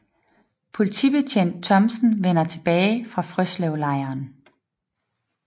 Politibetjent Thomsen vender tilbage fra Frøslevlejren